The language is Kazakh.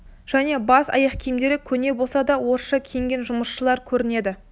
және бас киім аяқ киімдері көне болса да орысша киінген жұмысшылар көрінеді